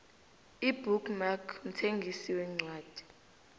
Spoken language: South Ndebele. ibook mark mthengisi wencwadi